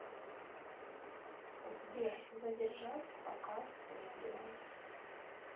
сбер задержать показ видео